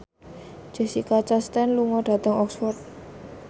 Jessica Chastain lunga dhateng Oxford